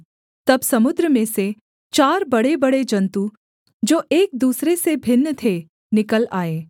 तब समुद्र में से चार बड़ेबड़े जन्तु जो एक दूसरे से भिन्न थे निकल आए